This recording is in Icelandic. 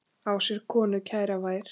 Á sér konu kæra ver.